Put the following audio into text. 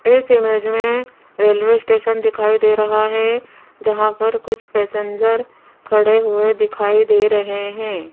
इस इमेज में railway station दिखाई दे रहा है जहां पर कुछ पैसेंजर खड़े हुए दिखाई दे रहे हैं।